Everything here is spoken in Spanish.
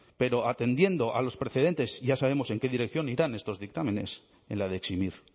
pero atendiendo a los precedentes ya sabemos en qué dirección irán estos dictámenes en la de eximir